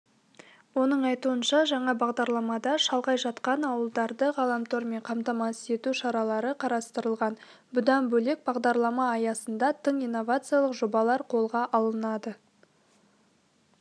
оның айтуынша жаңа бағдарламада шалғай жатқан ауылдарды ғаламтормен қамтамасыз ету шаралары қарастырылған бұдан бөлек бағдарлама аясында тың инновациялық жобалар қолға алынады